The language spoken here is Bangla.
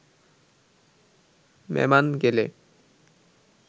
মেমান গেলে